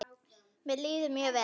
Mér líður mjög vel.